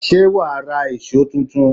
Ṣé wàá ra èṣó tuntun?